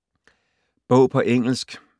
Bog på engelsk